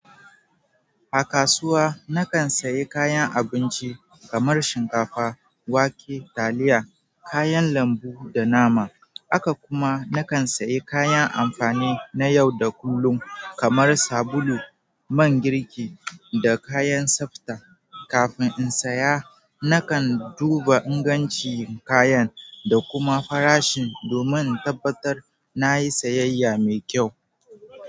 A kasuwa, nakan sayi kayan abinci kamar shinkafa, wake, taliya, kayan lambu da nama. kAka kuma nakan sayi kayan amfani na yau da kullum kamar sabulu, man girki, da kayan tsafta. Kafin in saya, nakan duba ingancin kayan da kuma farashi domin in tabbatar na yi sayayya mai kyau.